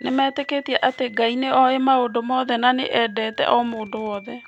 Nĩmetĩkĩtie atĩ Ngai nĩ oĩ maũndũ mothe na nĩ endete o mũndũ wothe.